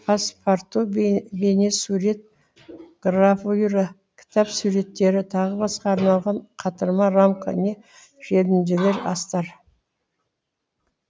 паспарту бейнесурет гравюра кітап суреттері тағы басқа арналған қатырма рамка не желімдемелер астар